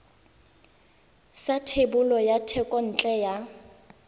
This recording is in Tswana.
sa thebolo ya thekontle ya